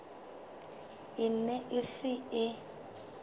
e ne e se e